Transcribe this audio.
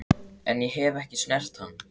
En ég hef ekki snert hann.